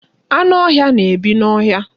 Anụ ọhịa na-ebi n'ọhịa.